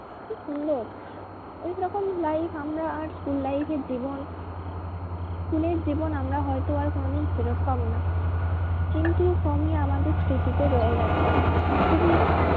খুব সুন্দর ওরকম life আমরা আর school life এর জীবন school এর জীবন আমরা হয়তো আর কোনোদিন ফেরত পাবো না কিন্তু আমাদের স্মৃতিতে রয়ে গেছে। খুবই